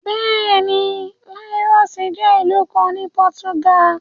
Bẹ́ẹ̀ ni, láọ́sì jẹ́ ìlú kan ní pọ́túgà.